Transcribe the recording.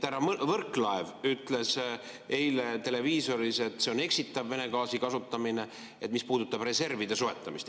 Härra Võrklaev ütles eile televiisoris, et see on eksitav Vene gaasi kasutamine, mis puudutab reservide soetamist.